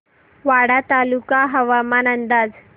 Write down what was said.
वाडा तालुका हवामान अंदाज